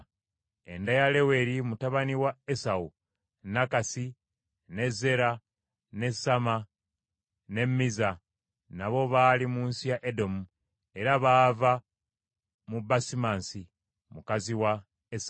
Enda ya Leweri mutabani wa Esawu: Nakasi, ne Zeera, ne Samma ne Mizza nabo baali mu nsi ya Edomu, era baava mu Basimansi, mukazi wa Esawu.